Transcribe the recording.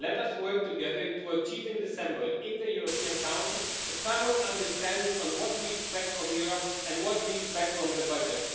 Let us work together to achieve, in the European Council in December, a common understanding on what we expect from Europe and what we expect from the budget.